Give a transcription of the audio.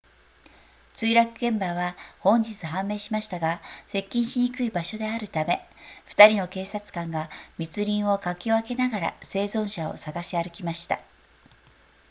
墜落現場は本日判明しましたが接近しにくい場所であるため2人の警察官が密林をかき分けながら生存者を探し歩きました